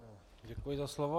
Děkuji za slovo.